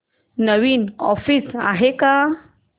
नवीन offers आहेत का